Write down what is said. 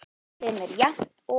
sem er jafnt og